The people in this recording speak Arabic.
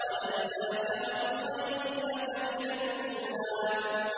وَلَلْآخِرَةُ خَيْرٌ لَّكَ مِنَ الْأُولَىٰ